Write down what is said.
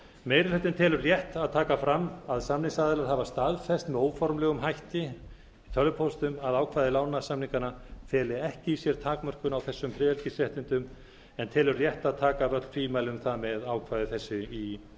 meiri hlutinn telur rétt að taka fram að samningsaðilar hafa staðfest með óformlegum hætti í tölvupóstum að ákvæði lánasamninganna feli ekki í sér takmörkun á þessum friðhelgisréttindum en telur rétt að taka af öll tvímæli um það með ákvæði þessu í